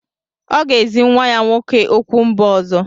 Ọ ga-ezi nwa ya nwoke okwu mba ọzọ.